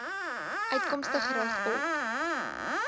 uitkomste gerig op